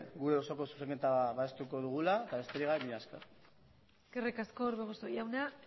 gure osoko zuzenketa babestuko dugula eta besterik gabe mila esker eskerrik asko orbegozo jauna